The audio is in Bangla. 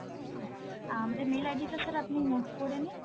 হ্যাঁ আমাদের mail ID টা sir আপনি note করেনিন.